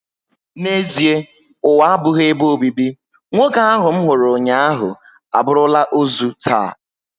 N'ezịe ụwa abụghị ebe obibi, nwoke ahụ nhuru ụnyaahụ, aburula ozu taa